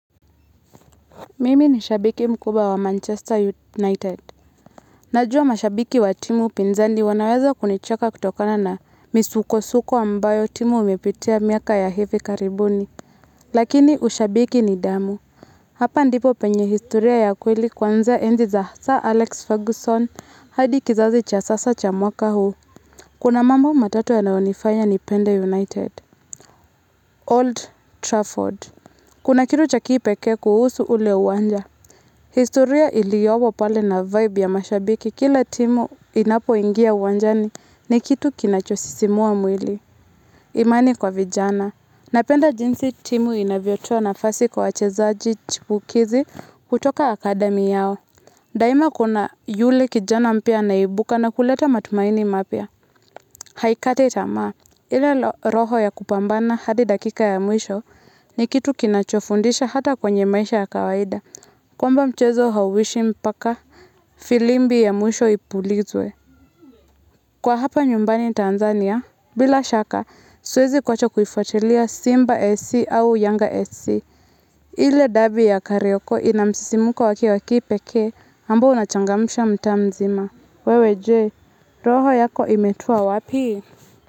Mimi ni shabiki mkubwa wa Manchester United. Najwa mashabiki wa timu pinzandi wanaweza kunichaka kutokana na misuko-suko ambayo timu umepitea miaka ya hefe karibuni. Lakini ushabiki ni damu. Hapa ndipo penye historia ya kweli kwanzea enzi za Sir Alex Ferguson hadi kizazi cha sasa cha mwaka huu. Kuna mambo matatu ya naonifanya ni pende United. Old Trafford. Kuna kitu cha kipeke kuhusu ule uwanja. Historia iliowo pale na vibe ya mashabiki. Kila timu inapo ingia wanjani ni kitu kinachosisimua mwili. Imani kwa vijana. Napenda jinsi timu inavyochoa nafasi kwa chezaji chipukizi kutoka akademi yao. Daima kuna yule kijana mpia naibuka na kuleta matumaini mapia. Haikate itamaa. Ile roho ya kupambana hadi dakika ya mwisho ni kitu kinachofundisha hata kwenye maisha ya kawaida. Kwamba mchezo hawishi mpaka filimbi ya mwisho ipulizwe. Kwa hapa nyumbani Tanzania, bila shaka, suezi kwacha kufatelia Simba fc au Yanga fc. Ile dabi ya karioko inamsisimuko waki waki peke ambu unachangamusha mta mzima. Wewe Je, roho yako imetua wapi?